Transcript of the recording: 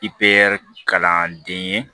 kalanden ye